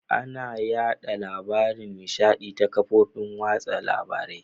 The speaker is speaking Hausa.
Ana yaɗa labaran nishaɗi ta ƙafofin watsa labarai.